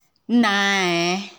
nna um